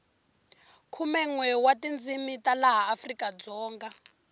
khumenwe wa tindzini ta laha afrikadzonga